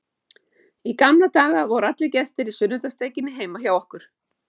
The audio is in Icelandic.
Í gamla daga voru alltaf gestir í sunnudagssteikinni heima hjá okkur.